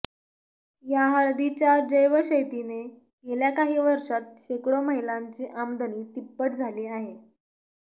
या हळदीच्या जैवशेतीने गेल्या काही वर्षांत शेकडो महिलांची आमदनी तिप्पट झाली आहे